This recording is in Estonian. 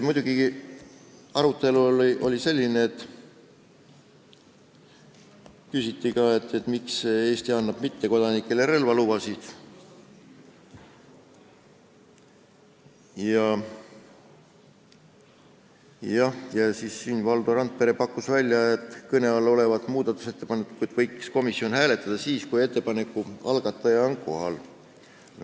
Muidugi, arutelu all oli ka see, miks Eesti annab mittekodanikele relvalubasid, ja Valdo Randpere pakkus, et kõne all olevat muudatusettepanekut võiks komisjon hääletada siis, kui ettepaneku algataja on kohal.